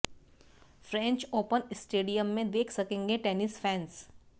French Open stadium में देख सकेंगे टेनिस फैंस